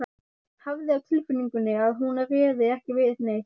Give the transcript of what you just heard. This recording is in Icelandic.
Hafði á tilfinningunni að hún réði ekki við neitt.